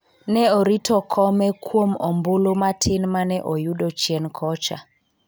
ne orito kome kuom ombulu matin mane oyudo chien kocha